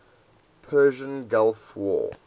persian gulf war